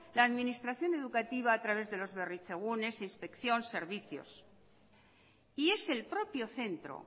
la administración educativa a través de los berritzegunes inspección servicios y es el propio centro